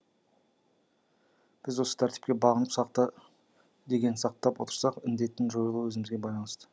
біз осы тәртіпке бағынып сақта дегенін сақтап отырсақ індеттің жойылуы өзімізге байланысты